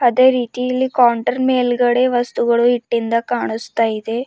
ಅದೇ ರೀತಿ ಇಲ್ಲಿ ಕೌಂಟರ್ ಮೇಲ್ಗಡೆ ವಸ್ತುಗಳು ಇಟ್ಟಿರುವುದು ಕಾಣಿಸ್ತಾ ಇದೆ.